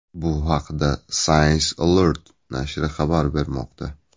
Bu haqda Science Alert nashri xabar bermoqda .